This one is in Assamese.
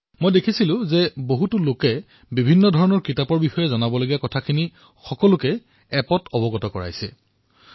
বিভিন্ন সংখ্যক লোকে গ্ৰন্থ বিষয়ক নানা তথ্য বিনিময় কৰা মই পৰিলক্ষিত কৰিছো